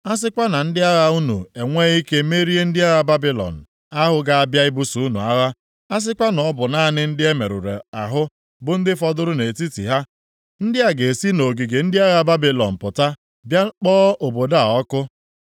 A sịkwa na ndị agha unu enwee ike merie ndị agha Babilọn ahụ ga-abịa ibuso unu agha, a sịkwa na ọ bụ naanị ndị e merụrụ ahụ bụ ndị fọdụrụ nʼetiti ha, ndị a ga-esi nʼogige ndị agha Babilọn pụta bịa kpọọ obodo a ọkụ.”